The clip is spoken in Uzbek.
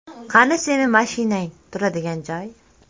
Qani sening mashinang turadigan joy?”.